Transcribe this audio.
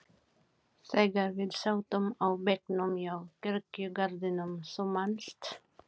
þegar við sátum á bekknum hjá kirkjugarðinum, þú manst.